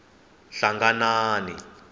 hlanganani